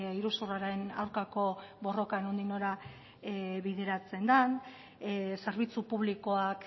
iruzurraren aurkako borroka nondik nora bideratzen den zerbitzu publikoak